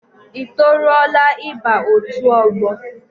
I toruola ịba otu ọgbọ?